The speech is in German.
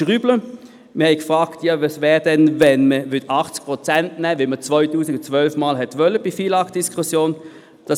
Wir haben gefragt, was passieren würde, wenn wir 80 Prozent nähmen, so wie man dies im Rahmen der FILAG-Diskussion 2012 geplant hatte.